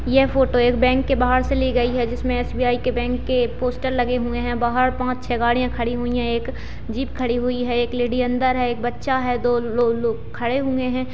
यह फोटो एक बैंक की बाहर से ली गई है जिसमे एस.बी.आई. के बैंक के पोस्टर लगे हुए है बाहर पाँच छे गाड़िया खड़ी हुई है एक जीप खड़ी हुई है एक लेडी अंदर है एक बच्चा है दो ल-ल-लोग खड़े हुए है।